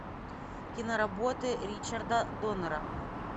киноработы ричарда доннера